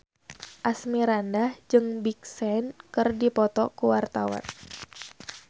Asmirandah jeung Big Sean keur dipoto ku wartawan